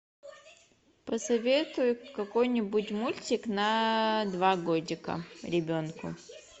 посоветуй какой нибудь мультик на два годика ребенку